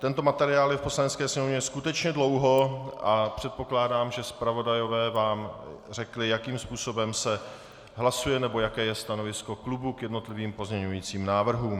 Tento materiál je v Poslanecké sněmovně skutečně dlouho a předpokládám, že zpravodajové vám řekli, jakým způsobem se hlasuje nebo jaké je stanovisko klubu k jednotlivým pozměňovacím návrhům.